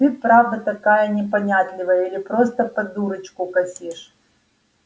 ты правда такая непонятливая или просто под дурочку косишь